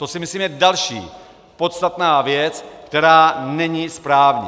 To si myslím, je další podstatná věc, která není správně.